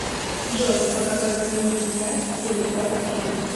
джой по какои книге снят телепорт фильм